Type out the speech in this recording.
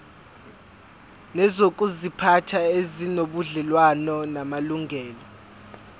nezokuziphatha ezinobudlelwano namalungelo